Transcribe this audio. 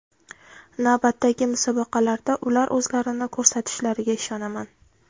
Navbatdagi musobaqalarda ular o‘zlarini ko‘rsatishlariga ishonaman”.